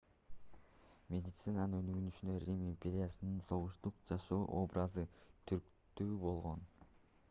медицинанын өнүгүшүнө рим империясынын согуштук жашоо образы түрткү болгон